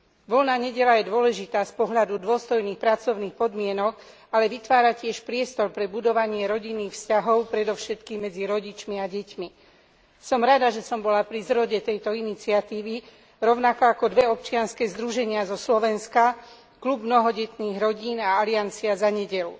Voľná nedeľa je dôležitá z pohľadu dôstojných pracovných podmienok, ale vytvára tiež priestor pre budovanie rodinných vzťahov, predovšetkým medzi rodičmi a deťmi. Som rada, že som bola pri zrode tejto iniciatívy rovnako ako dve občianske združenia zo Slovenska Klub mnohodetných rodín a Aliancia za nedeľu.